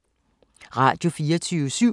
Radio24syv